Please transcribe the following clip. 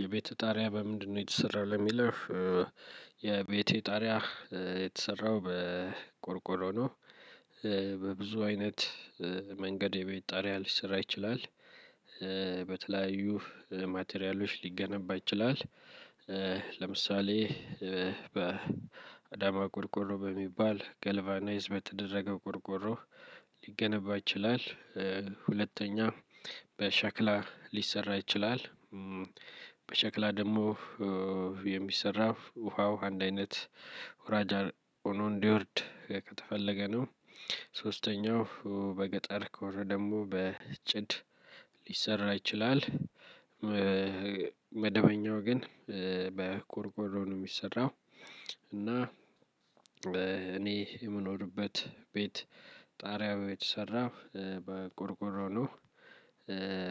የቤትህ ጣሪያ በምንድነው የተሰራው ለሚለው? የቤቴ ጣሪያ የተሰራው በቆርቆሮ ነው። በብዙ አይነት መንገድ የቤት ጣርያ ልሰራ ይችላል። በተለያዩ ማቴሪያሎች ሊገነባ ይችላል። ለምሳሌ በአዳማ ቆርቆሮ በሚባል ጋልቫናይዝ በተደረገ ቆርቆሮ ሊገነባ ይችላል። ሁለተኛ በሻክላ ሊሰራ ይችላል። በሻክላ ደግሞ የሚሰራ ውሃው አንድ አይነት ሁራጃር ሆኖ እንዲወርድ ከተፈለገ ነው። ሶስተኛው በገጠር ከሆነ ደግሞ በጭድ ሊሰራ ይችላል። መደበኛው ግን በቆርቆሮ ነው የሚሰራው። እና እኔ የምኖርበት ቤት ጣሪያው የተሰራው በቆርቆሮ ነው።